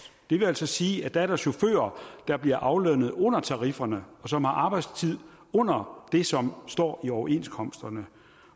det vil altså sige at der er der chauffører der bliver aflønnet under tarifferne og som har arbejdstid under det som står i overenskomsterne